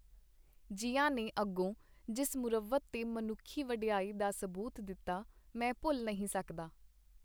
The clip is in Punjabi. ਜ਼ਿਆ ਨੇ ਅਗੋਂ ਜਿਸ ਮੁਰੱਵਤ ਤੇ ਮਨੁੱਖੀ ਵਡਿਆਈ ਦਾ ਸਬੂਤ ਦਿੱਤਾ, ਮੈਂ ਭੁੱਲ ਨਹੀਂ ਸਕਦਾ.